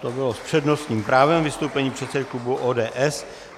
To bylo s přednostním právem vystoupení předsedy klubu ODS.